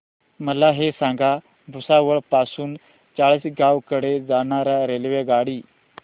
मला हे सांगा भुसावळ पासून चाळीसगाव कडे जाणार्या रेल्वेगाडी